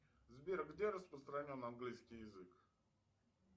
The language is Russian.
сбер где распространен английский язык